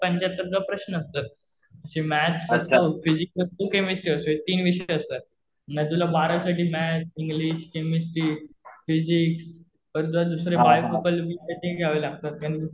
आणि पंचाहत्तरच प्रश्न असतं. जे मॅथ्स असतं, फिजिक्स व केमिस्ट्री असतं हे तीन विषय असतात. मग तुला बारावी साठी मॅथ्स, इंग्लिश, केमिस्ट्री, फिजिक्स परत तुला दुसरे विषय ते घ्यावे लागतात.